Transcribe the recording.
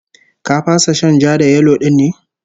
Ka fasa shan ja-da-yelo din ne?